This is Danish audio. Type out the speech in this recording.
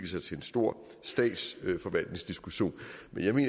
sig til en stor statsforvaltningsdiskussion